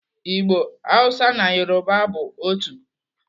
Igbo, Hausa na Yoruba bụ otu.